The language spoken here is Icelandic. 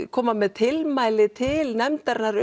koma með tilmæli til nefndarinnar